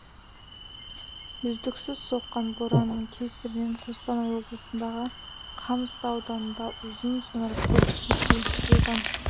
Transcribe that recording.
үздіксіз соққан боранның кесірінен қостанай облысындағы қамысты ауданында ұзын сонар көлік кептелісі болған